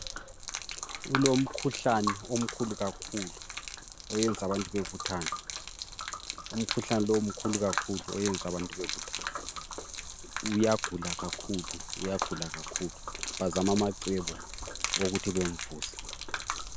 Kulomkhuhlane omkhulu kakhulu oyenza abantu bebuthane umkhuhlane lo mkhulu kakhulu oyenza abantu bebuthane uyagula kakhulu uyagula kakhulu bazama amacebo okuthi bamvuse.